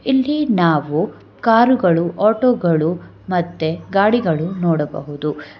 ಇಲ್ಲಿ ನಾವು ಕಾರುಗಳು ಆಟೋಗಳು ಮತ್ತು ಗಾಡಿಗಳನ್ನು ನೋಡಬಹುದು.